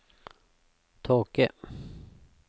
tåke